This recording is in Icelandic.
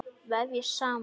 Vefjast saman.